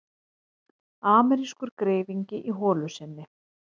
Amerískur greifingi í holu sinni.